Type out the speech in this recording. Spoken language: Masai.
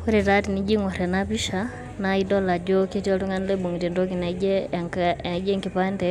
Woore taa enijoo aingorr enapisha naa idol ajoo etii oltungani oibungita entoki naijio enkipande